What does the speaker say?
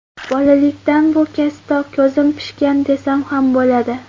Bolalikdan bu kasbda ko‘zim pishgan desam ham bo‘ladi.